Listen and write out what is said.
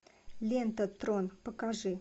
лента трон покажи